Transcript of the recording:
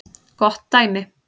Gott dæmi